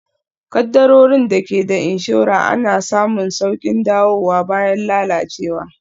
Kaddarorin da ke da inshora ana samun sauƙin dawowa bayan lalacewa